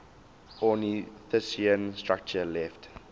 ornithischian structure left